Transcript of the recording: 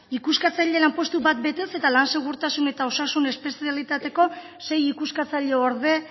ikuskatzaile lanpostu bat betez eta lan segurtasun eta osasun espezialitateko sei ikuskatzaile orde